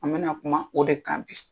An bɛ na kuma o de kan bi.